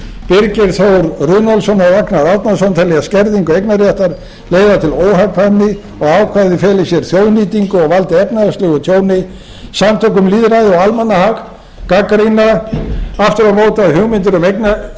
rúnarsson og ragnar árnason telja skerðingu eignarréttar leiða til óhagkvæmni og ákvæðið feli í sér þjóðnýtingu og valdi efnahagslegu tjóni samtök um lýðræði og almannahag gagnrýna aftur á móti að hugmyndir um